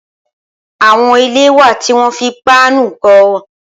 Awọn ilé wá tiwọn fi páànù kọ